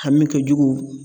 Hami kɛjugu